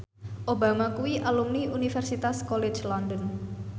Obama kuwi alumni Universitas College London